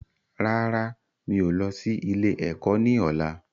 Rárá, mi ò lọ sí ilé ẹ̀kọ́ ni ọ̀la.